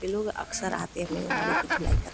ये लोग अक्सर आते हैं अपनी गाड़ी की धुलाई कर --